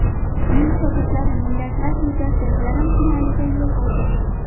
Uning shogirdlari Millatlar Ligasi yarim finaliga yo‘l oldi.